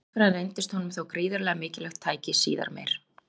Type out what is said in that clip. Stærðfræðin reyndist honum þó gríðarlega mikilvægt tæki síðar meir.